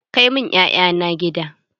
Kai mun 'ya'ya na gida!